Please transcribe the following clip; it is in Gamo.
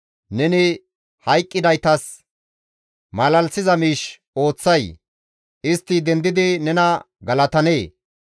Neni hayqqidaytas malalisiza miish ooththay? Istti dendidi nena galatanee?